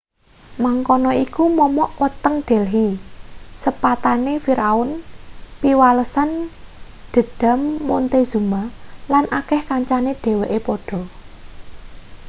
mangkono iku momok weteng delhi sepatane firaun piwalesan dhendham montezuma lan akeh kancane dheweke padha